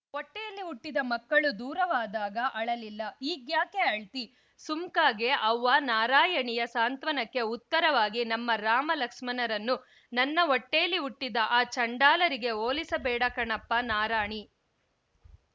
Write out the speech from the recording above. ಹೊಟ್ಟೆಯಲ್ಲಿ ಹುಟ್ಟಿದ ಮಕ್ಕಳು ದೂರವಾದಾಗ ಅಳಲಿಲ್ಲ ಈಗ್ಯಾಕೆ ಅಳ್ತಿ ಸುಮ್ಕಾಗೆ ಅವ್ವ ನಾರಾಯಣಿಯ ಸಾಂತ್ವನಕ್ಕೆ ಉತ್ತರವಾಗಿ ನಮ್ಮ ರಾಮ ಲಕ್ಸ್ಮನರನ್ನ ನನ್ನ ಹೊಟ್ಟೇಲಿ ಹುಟ್ಟಿದ ಆ ಚಾಂಡಾಲರಿಗೆ ಹೋಲಿಸಬೇಡಕಣಪ್ಪ ನಾರಾಣಿ